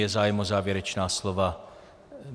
Je zájem o závěrečná slova?